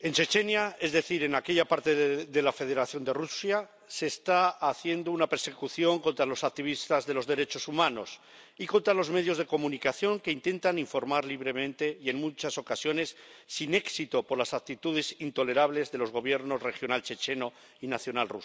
en Chechenia, es decir, en aquella parte de la Federación de Rusia, se está haciendo una persecución contra los activistas de los derechos humanos y contra los medios de comunicación —que intentan informar libremente y, en muchas ocasiones, sin éxito, por las actitudes intolerables de los Gobiernos regional checheno y nacional ruso—.